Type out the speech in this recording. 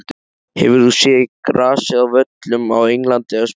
Hefur þú séð grasið á völlum á Englandi eða Spáni?